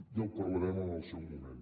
ja ho parlarem en el seu moment